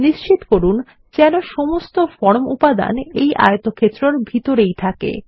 নিশ্চিত করুন যেন সমস্ত ফর্ম উপাদান এই আয়তক্ষেত্র এর ভিতরেই থাকে